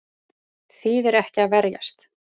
Þýðir ekki að verjast